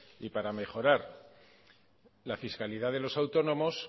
y para mejorar la fiscalidad de los autónomos